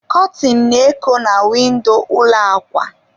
Kọtịn na-eko na windo ụlọ akwa.